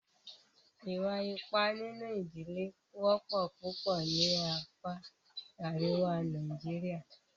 Ìwà ipá nínú ìdílé wọ́pọ̀ púpọ̀ ní apá àríwá Nàìjíríà.